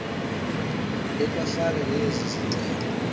ekwafana nezi zixelwe